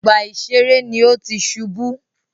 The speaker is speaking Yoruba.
Ọgbà ìṣeré ní o tí ṣubú.